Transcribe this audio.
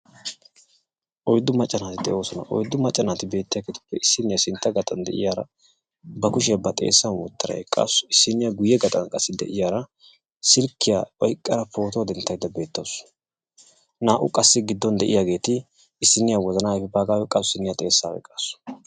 oyddu macca naati de'oosona. Oyddu macca naati beettiyaagetuppe issiniyaa sintta gaaxan de'iyaara ba kushiyaa ba xeessan woottada eqqaasu. Issiniyaa guyye gaaxan de'iyaara silkkiyaa oyqqada pootuwaa denttaydda eqqaasu. Naa"u qassi gidduwaan de'iyaageti issiniyaa wozana ayfiyaa oyqqasu issiniyaa xeessaa oyqqasu.